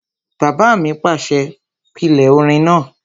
Bàbá mi pàṣẹ, "pílè orin náà!"